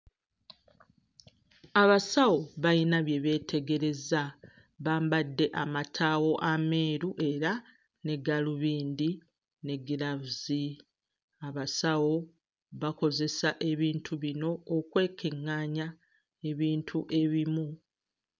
Abasawo bayina bye beetegereza bambadde amataawo ameeru era ne gaalubindi ne giraavuzi. Abasawo bakozesa ebintu bino okwekeŋŋaanya ebintu ebimu.